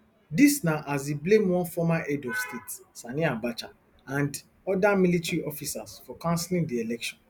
dis na as e blame one former head of state sani abacha and oda military officers for cancelling di election